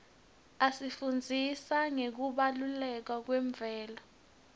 isifundzisa ngekubaluleka kwemvelo